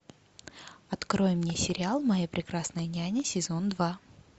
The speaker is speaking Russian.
открой мне сериал моя прекрасная няня сезон два